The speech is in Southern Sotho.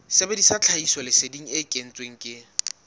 sebedisa tlhahisoleseding e kentsweng ke